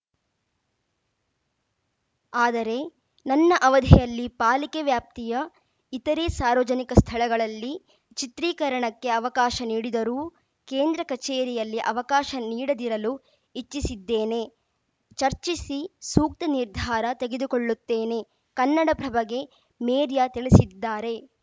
ಆದರೆ ನನ್ನ ಅವಧಿಯಲ್ಲಿ ಪಾಲಿಕೆ ವ್ಯಾಪ್ತಿಯ ಇತರೆ ಸಾರ್ವಜನಿಕ ಸ್ಥಳಗಳಲ್ಲಿ ಚಿತ್ರೀಕರಣಕ್ಕೆ ಅವಕಾಶ ನೀಡಿದರೂ ಕೇಂದ್ರ ಕಚೇರಿಯಲ್ಲಿ ಅವಕಾಶ ನೀಡದಿರಲು ಇಚ್ಚಿಸಿದ್ದೇನೆ ಚರ್ಚಿಸಿ ಸೂಕ್ತ ನಿರ್ಧಾರ ತೆಗೆದುಕೊಳ್ಳುತ್ತೇನೆ ಕನ್ನಡಪ್ರಭಗೆ ಮೇರ್ಯ ತಿಳಿಸಿದ್ದಾರೆ